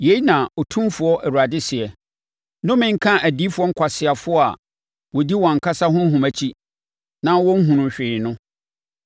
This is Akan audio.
Yei na Otumfoɔ Awurade seɛ: Nnome nka adiyifoɔ nkwaseafoɔ a wɔdi wɔn ankasa honhom akyi na wɔnhunuu hwee no.